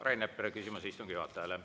Rain Epler, küsimus istungi juhatajale.